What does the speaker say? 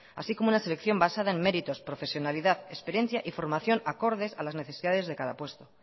así como una selección basada en méritos profesionalidad experiencia y formación acordes a las necesidades de cada puesto